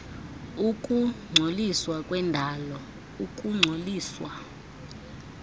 ukungcoliswa kwendalo ukungcoliswa